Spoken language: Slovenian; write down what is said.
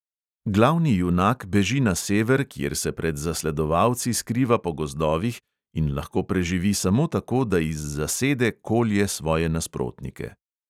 Glavni junak beži na sever, kjer se pred zasledovalci skriva po gozdovih in lahko preživi samo tako, da iz zasede kolje svoje nasprotnike.